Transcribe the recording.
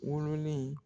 Wololen